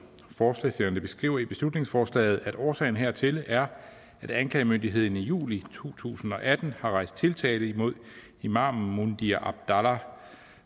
forslagsstillerne beskriver i beslutningsforslaget at årsagen hertil er at anklagemyndigheden i juli to tusind og atten har rejst tiltale imod imamen mundhir abdallah